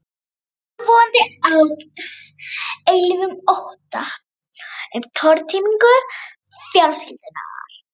Yfirvofandi ógn, eilífum ótta um tortímingu fjölskyldunnar.